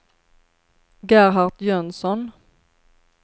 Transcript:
Gerhard Jönsson